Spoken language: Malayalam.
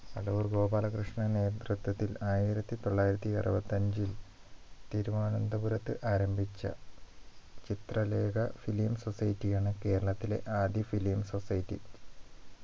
അടൂർ ഗോപാലകൃഷ്ണന നേതൃത്വത്തിൽ ആയിരത്തി തൊള്ളായിരത്തി അറുപത്തി അഞ്ചിൽ തിരുവനന്തപുരത്ത് ആരംഭിച്ച ചിത്രലേഖ film society ആണ് കേരളത്തിലെ ആദ്യ film society